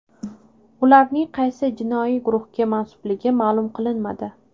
Ularning qaysi jinoiy guruhga mansubligi ma’lum qilinmadi.